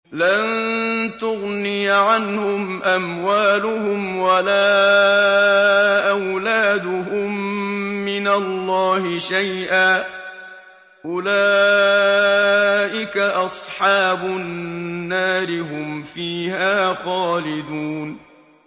لَّن تُغْنِيَ عَنْهُمْ أَمْوَالُهُمْ وَلَا أَوْلَادُهُم مِّنَ اللَّهِ شَيْئًا ۚ أُولَٰئِكَ أَصْحَابُ النَّارِ ۖ هُمْ فِيهَا خَالِدُونَ